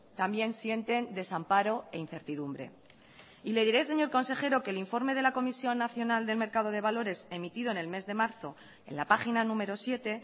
también sienten desamparo e incertidumbre y le diré señor consejero que el informe de la comisión nacional del mercado de valores emitido en el mes de marzo en la página número siete